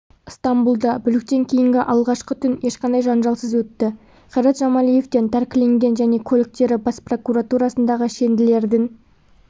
ыстамбұлда бүліктен кейінгі алғашқы түн ешқандай жанжалсыз өтті қайрат жамалиевтен тәркіленген және көліктері бас прокуратурасындағы шенділердің